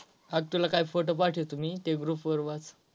आज तुला काय PHOTO पाठवतो मी ते GROUP वर वाच.